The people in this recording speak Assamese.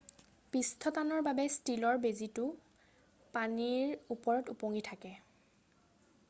পৃষ্ঠটানৰ বাবে ষ্টীলৰ বেজিটো পানীৰ ওপৰত ওপঙি থাকে